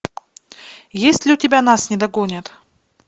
есть ли у тебя нас не догонят